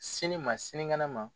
Sini ma sinikɛnɛ ma.